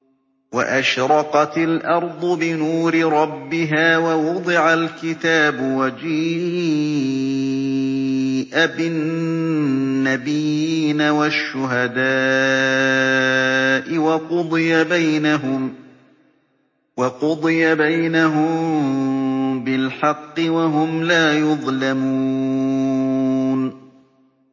وَأَشْرَقَتِ الْأَرْضُ بِنُورِ رَبِّهَا وَوُضِعَ الْكِتَابُ وَجِيءَ بِالنَّبِيِّينَ وَالشُّهَدَاءِ وَقُضِيَ بَيْنَهُم بِالْحَقِّ وَهُمْ لَا يُظْلَمُونَ